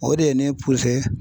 O de ye ne